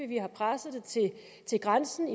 vi har presset det til grænsen